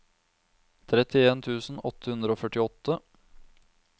trettien tusen åtte hundre og førtiåtte